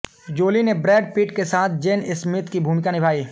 जोली ने Brad Pitt के साथ जेन स्मिथ की भूमिका निभाई